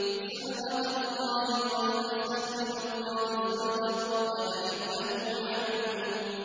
صِبْغَةَ اللَّهِ ۖ وَمَنْ أَحْسَنُ مِنَ اللَّهِ صِبْغَةً ۖ وَنَحْنُ لَهُ عَابِدُونَ